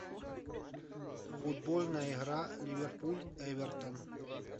футбольная игра ливерпуль эвертон